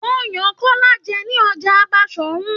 Wọn yan Kọla jẹ ni Ọjà Basorun.